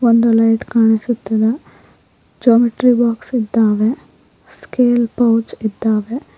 ಒಂದು ಲೈಟ್ ಕಾಣಿಸುತ್ತಿದೆ geometry box ಇದ್ದಾವೆ ಸ್ಕೇಲ್ ಪೌಚ್ ಇದ್ದಾವೆ.